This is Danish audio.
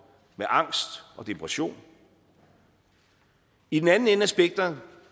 med angst og depression i den anden ende af spektret